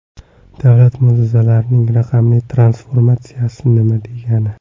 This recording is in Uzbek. Davlat muassasalarining raqamli transformatsiyasi nima degani?